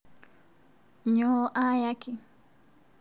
Nyoo aayaki?